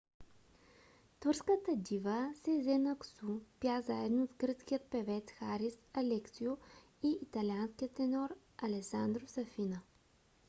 турската дива сезен аксу пя заедно с гръцкия певец харис алексиу и италианския тенор алесандро сафина